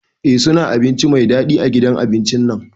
Eh suna abinci Mai dadi a gidan abincin nan.